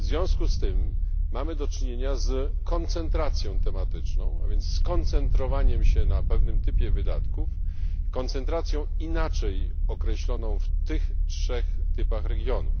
w związku z tym mamy do czynienia z koncentracją tematyczną, a więc z koncentrowaniem się na pewnym typie wydatków, koncentracją inaczej określoną w tych trzech typach regionów.